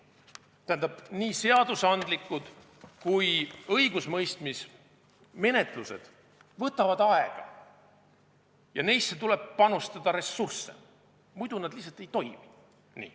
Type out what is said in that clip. Tähendab, nii seadusandlikud kui ka õigusemõistmise menetlused võtavad aega ja neisse tuleb panustada ressursse, muidu nad lihtsalt ei toimi.